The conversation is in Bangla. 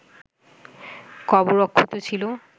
কবর অক্ষত ছিল